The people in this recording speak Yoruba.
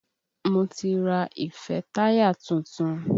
Mo ti ra ìfẹ́táyà tuntun.